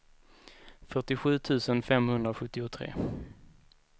fyrtiosju tusen femhundrasjuttiotre